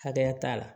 Hakɛya t'a la